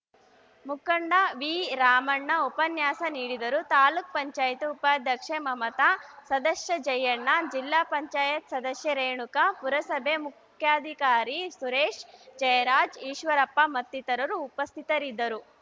ಮುಖಂಡ ವಿರಾಮಣ್ಣ ಉಪನ್ಯಾಸ ನೀಡಿದರು ತಾಲೂಕ್ ಪಂಚಾಯತ್ ಉಪಾಧ್ಯಕ್ಷೆ ಮಮತಾ ಸದಸ್ಯ ಜಯಣ್ಣ ಜಿಲ್ಲಾ ಪಂಚಾಯತ್ ಸದಸ್ಯೆ ರೇಣುಕಾ ಪುರಸಭೆ ಮುಖ್ಯಾಧಿಕಾರಿ ಸುರೇಶ್‌ ಜಯರಾಜ್‌ ಈಶ್ವರಪ್ಪ ಮತ್ತಿತರರು ಉಪಸ್ಥಿತರಿದ್ದರು